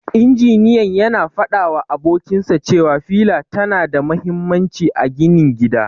Injiniyan yana fadawa abokinsa cewa fila tana da mahimmanci a ginin gida.